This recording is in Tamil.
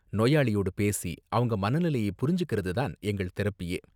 நோயாளியோடு பேசி அவங்க மனநிலையை புரிஞ்சிக்கறது தான் எங்கள் தெரபியே.